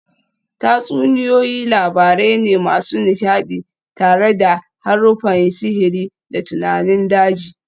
Tatsuniyoyi labarai ne masu nishadi tare da haruffan sihiri da tunanin daji